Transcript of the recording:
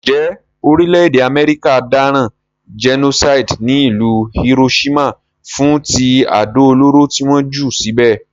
Njé orílẹ̀dè America dáràn genocide ní ìlú Hiroshima fún ti àdó olóró ti won jù síbè